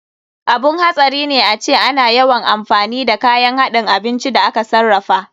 Abun hatsari ne ace ana yawan amfani da kayan haɗin abinci da aka sarrafa.